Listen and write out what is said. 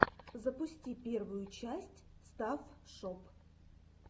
запусти первую часть стафф шоп